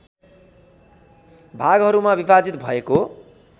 भागहरूमा विभाजित भएको